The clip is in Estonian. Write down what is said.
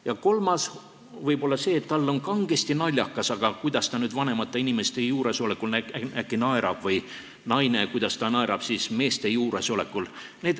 Ja kolmas põhjus võib olla see, et tal on kangesti naljakas, aga kuidas ta nüüd vanemate inimeste juuresolekul äkki naerab, või kuidas naine naerab meeste juuresolekul.